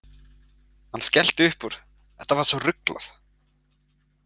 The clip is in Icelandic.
Hann skellti upp úr, þetta var svo ruglað.